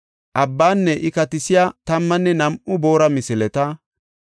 Abbaanne iya katisiya tammanne nam7u boora misileta,